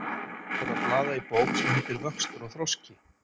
Ég hef verið að blaða í bók sem heitir Vöxtur og þroski.